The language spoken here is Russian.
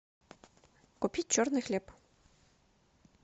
купить черный хлеб